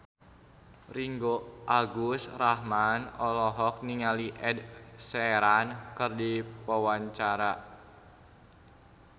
Ringgo Agus Rahman olohok ningali Ed Sheeran keur diwawancara